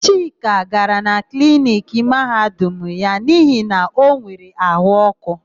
Chika gara na kliniki Mahadum ya n'ihi na o nwere áhụ̀ ọ́kụ́.